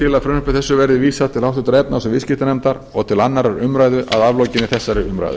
til að frumvarpi þessu verði vísað til háttvirtrar efnahags og viðskiptanefndar og til annarrar umræðu að aflokinni þessari umræðu